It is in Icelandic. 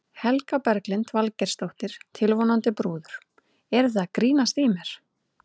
Helga Berglind Valgeirsdóttir, tilvonandi brúður: Eruð þið að grínast í mér?